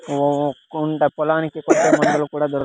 ఓ కుంట పొలానికి మందులు కూడా దొరు--